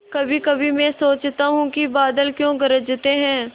कभीकभी मैं सोचता हूँ कि बादल क्यों गरजते हैं